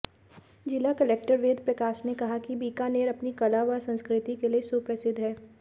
जिला कलेक्टर वेदप्रकाश ने कहा कि बीकानेर अपनी कला व संस्कृति के लिए सुप्रसिद्ध है